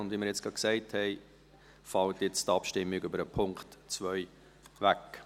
Wie wir eben gesagt haben, fällt jetzt die Abstimmung zu Punkt 2 weg.